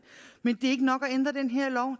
men er ikke nok at ændre den her lov